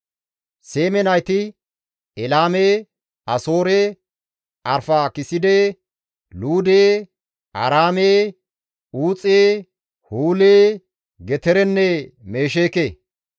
Seeme nayti, Elaame, Asoore, Arfaakiside, Luude, Aaraame, Uuxe, Huule, Geterenne Mesheeke;